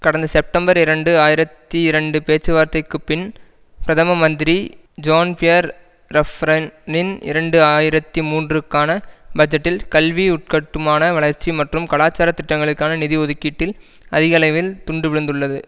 கடந்த செப்டம்பர் இரண்டு ஆயிரத்தி இரண்டு பேச்சுவார்த்தைக்குப்பின் பிரதம மந்திரி ஜான் பியர் ரஃப்ரன் னின் இரண்டு ஆயிரத்தி மூன்றுக்கான பட்ஜெட்டில் கல்வி உள்கட்டுமான வளர்ச்சி மற்றும் கலாச்சார திட்டங்களுக்கான நிதி ஒதுக்கீட்டில் அதிக அளவில் துண்டு விழுந்துள்ளது